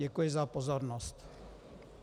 Děkuji za pozornost.